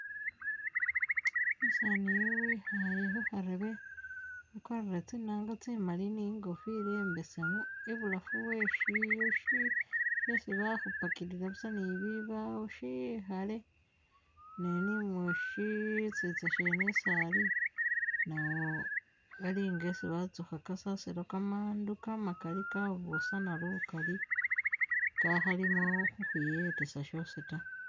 Umusaani iyu ikhale khukharebe wakwarile tsinaanga tsimaali ni kofila imbesemu ibulafu weshiyu shesi bakhupakilila busa ni bibawo shikhale ne nimusisitsa mwene isi Ali nawo alinga isi batsukha kasasilo kamandu kamakaali kabusana lukaali kakhalimo khukhwiyetesa shosi taa